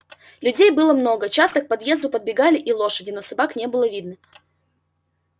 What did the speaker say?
людей было много часто к подъезду подбегали и лошади но собак не было видно